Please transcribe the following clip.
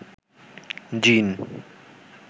জ্বিন